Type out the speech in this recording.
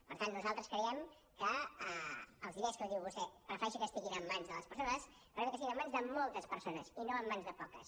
per tant nosaltres creiem que els diners com diu vostè prefereixo que estiguin en mans de les persones però que estiguin en mans de moltes persones i no en mans de poques